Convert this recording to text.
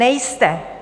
Nejste.